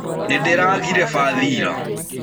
Nĩndĩragĩre bathĩ ĩra.